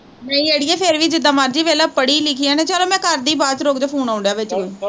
ਨਹੀਂ ਅੜੀਏ ਫੇਰ ਵੀ ਜਿਦਾਂ ਮਰਜ਼ੀ ਵੇਖਲਾ ਪੜੀ ਲਿਖੀ ਐ ਨੇ, ਚਲੋ ਮੈਂ ਕਰਦੀ ਬਾਦ ਚ ਰੁਕਜੋ ਵਿੱਚ phone ਆਉਣ ਡਿਆ ਵਿੱਚ